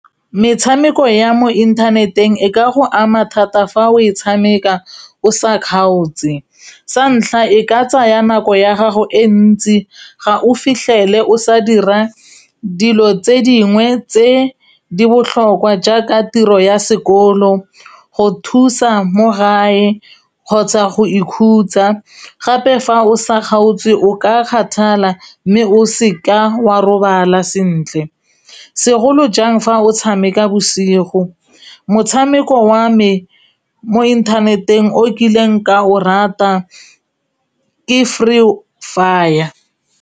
Metshameko ya mo inthaneteng e ka go ama thata fa o e tshameka o sa kgaotse, sa ntlha e ka tsaya nako ya gago e ntsi ga o fitlhele o sa dira dilo tse dingwe tse di botlhokwa jaaka tiro ya sekolo, go thusa mo gae kgotsa go ikhutsa gape fa o sa kgaotswe o ka kgathala mme o seka wa robala sentle segolo jang fa o tshameka bosigo motshameko wa me mo inthaneteng o kileng ka o rata ke free fire.